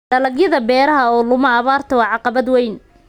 Dalagyada beeraha oo luma abaarta waa caqabad weyn.